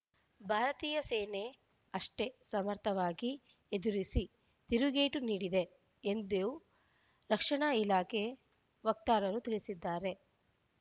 ಭಾರತೀಯ ಸೇನೆ ಅಷ್ಟೇ ಸಮರ್ಥವಾಗಿ ಎದುರಿಸಿ ತಿರುಗೇಟು ನೀಡಿದೆ ಎಂದು ರಕ್ಷಣಾ ಇಲಾಖೆ ವಕ್ತಾರರು ತಿಳಿಸಿದ್ದಾರೆ